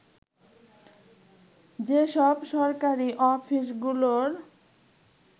যেসব সরকারি অফিসগুলোর